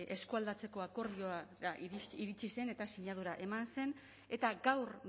eskualdatzeko akordiora iritsi zen eta sinadura eman zen eta gaur